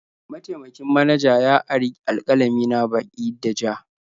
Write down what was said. Mataimakin manaja ya ari alƙalami na baki da ja.